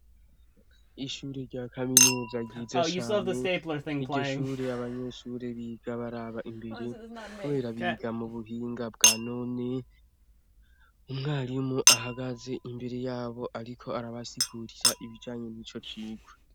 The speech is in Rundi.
Ishure rya kaminuza ryiza cane, iryo shure abanyeshure biga baraba imbere, kubera biga mu buhinga bwa none, umwarimu ahagaze imbere yabo ariko arabasigurira ibijanye n' ico cirwa.